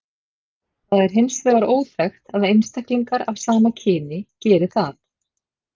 Það er hins vegar óþekkt að einstaklingar af sama kyni geri það.